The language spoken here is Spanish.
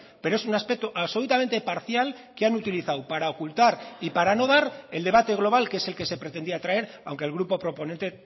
pero es un aspecto absolutamente parcial que han utilizado para ocultar y para no dar el debate global que es el que se pretendía traer aunque el grupo proponente